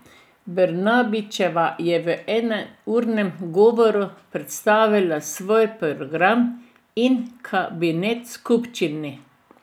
Brnabićeva je v enournem govoru predstavila svoj program in kabinet skupščini.